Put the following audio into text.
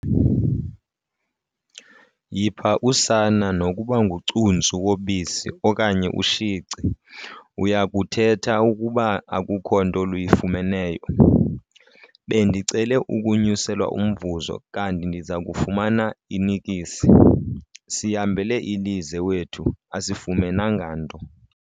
Yipha usana nokuba ngucuntsu wobisi okanye ushici uya kuthetha ukuba akukho nto luyifumeneyo. bendicele ukunyuselwa umvuzo kanti ndiza kufumana inikisi, sihambele ilize wethu asifumenanga nto